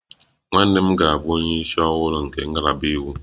Nwanne nna m ga-abụ onye isi ọhụrụ nke ngalaba iwu